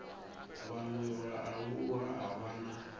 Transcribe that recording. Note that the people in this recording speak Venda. vhaṅwe vhaaluwa a vha na